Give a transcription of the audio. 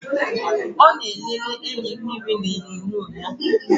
Ọ ma-elele enyimmiri n' onyonyo ya.